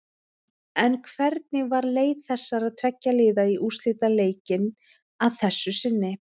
En hvernig var leið þessara tveggja liða í úrslitaleikinn að þessu sinni?